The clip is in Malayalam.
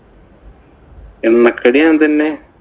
എണ്ണക്കടി ഞാന്‍ തന്നെ.